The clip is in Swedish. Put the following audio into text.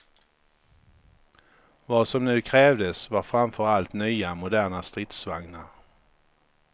Vad som nu krävdes var framför allt nya moderna stridsvagnar.